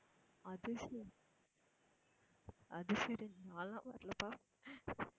அது சரி அது சரி நான்லாம் வரலப்பா